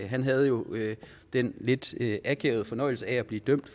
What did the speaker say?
han havde jo den lidt akavede fornøjelse af at blive dømt